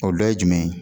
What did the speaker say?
O dɔ ye jumɛn ye